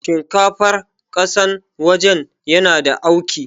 Shinkafar ƙasan waje yana da auki